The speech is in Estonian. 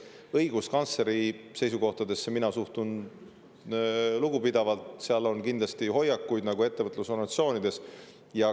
Õiguskantsleri seisukohtadesse suhtun mina lugupidavalt, tal on kindlasti hoiakuid nagu ettevõtlusorganisatsioonidel.